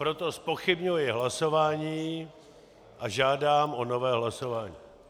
Proto zpochybňuji hlasování a žádám o nové hlasování.